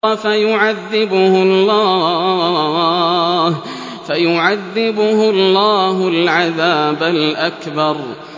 فَيُعَذِّبُهُ اللَّهُ الْعَذَابَ الْأَكْبَرَ